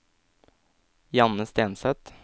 Janne Stenseth